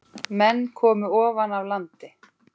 Menn komu ofan af landi.